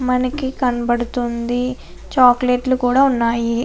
మనకి కనబడుతుంది. చాక్లెట్ లు కూడా ఉన్నాయి.